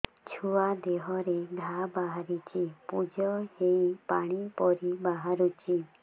ଛୁଆ ଦେହରେ ଘା ବାହାରିଛି ପୁଜ ହେଇ ପାଣି ପରି ବାହାରୁଚି